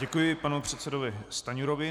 Děkuji panu předsedovi Stanjurovi.